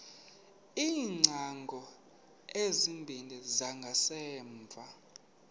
iingcango ezimbini zangasemva